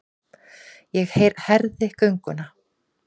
Ég herði gönguna.